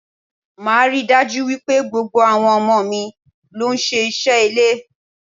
Máa rí dájú wípé gbogbo àwọn ọmọ mi ló ń ṣe iṣẹ́ ilé.